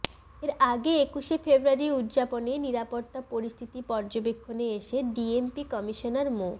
এর আগে একুশে ফেব্রুয়ারি উদযাপনে নিরাপত্তা পরিস্থিতি পর্যবেক্ষণে এসে ডিএমপি কমিশনার মো